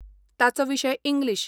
ताचो विशय इंग्लीश.